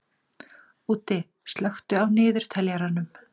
Úddi, slökktu á niðurteljaranum.